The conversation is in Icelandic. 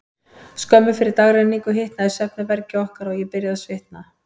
Skömmu fyrir dagrenningu hitnaði í svefnherbergi okkar, og ég byrjaði að svitna.